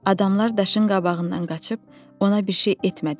Adamlar daşın qabağından qaçıb ona bir şey etmədilər.